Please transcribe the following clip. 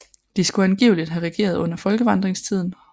De skulle angiveligt have regeret under folkevandringstiden